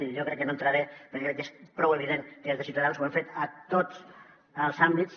i jo crec que no hi entraré perquè crec que és prou evident que des de ciutadans ho hem fet a tots els àmbits